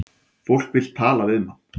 Fólk vill tala við mann